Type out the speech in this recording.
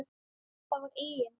Það var eigin